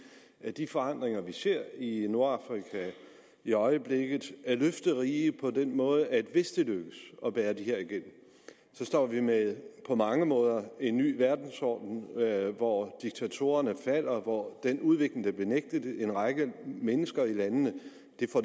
i at de forandringer vi ser i nordafrika i øjeblikket er løfterige på den måde at hvis det lykkes at bære det her igennem står vi med en på mange måder ny verdensorden hvor diktatorerne falder hvor en udvikling der blev nægtet en række mennesker i landene